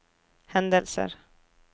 hendelser